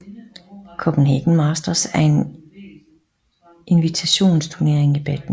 Copenhagen Masters er en invitationsturnering i badminton